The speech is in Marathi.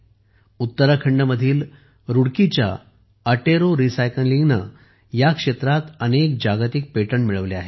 उत्तराखंडमधील रुडकीच्या अटेरो एटेरो रिसायकलिंगने तर या क्षेत्रात अनेक जागतिक पेटंट मिळवले आहेत